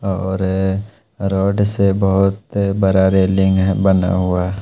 और रॉड से बहोत बड़ा रेलिंग है बना हुआ।